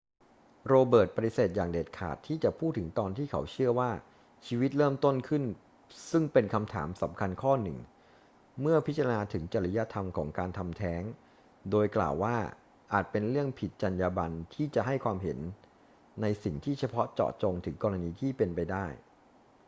โรเบิร์ตปฏิเสธอย่างเด็ดขาดที่จะพูดถึงตอนที่เขาเชื่อว่าชีวิตเริ่มต้นขึ้น ซึ่งเป็นคำถามสำคัญข้อหนึ่งเมื่อพิจารณาถึงจริยธรรมของการทำแท้ง โดยกล่าวว่าอาจเป็นเรื่องผิดจรรยาบรรณที่จะให้ความเห็นในสิ่งที่เฉพาะเจาะจงถึงกรณีที่เป็นไปได้